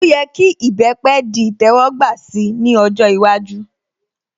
Ó yẹ kí ìbẹpẹ̀ di ìtẹ́wọ́gbà si ní ọjọ́ iwájú